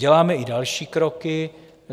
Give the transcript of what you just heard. Děláme i další kroky.